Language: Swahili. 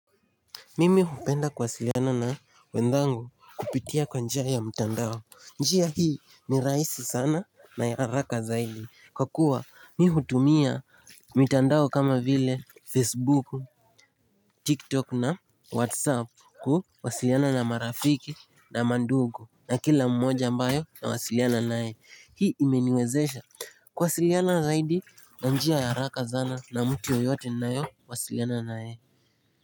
Mimi hupenda kuwasiliana na wenzangu kupitia kwa njia ya mtandao. Njia hii ni rahisi sana na ya haraka zaidi, kwa kuwa mi hutumia mtandao kama vile Facebook, TikTok na Whatsapp kuwasiliana na marafiki na mandugu na kila mmoja ambaye nawasiliana naye Hii imeniwezesha kuwasiliana zaidi na njia ya haraka sana na mtu yeyote ninayewasiliana naye.